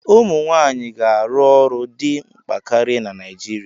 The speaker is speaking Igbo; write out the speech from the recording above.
Ụmụ nwanyị ga-arụ ọrụ dị mkpa karịa na Nigeria.